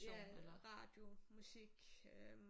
Ja radio musik øh